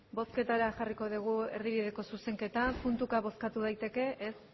bozketara jarriko dugu erdibideko zuzenketa puntuka bozkatu daiteke ez